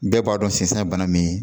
Bɛɛ b'a dɔn sisan ye bana min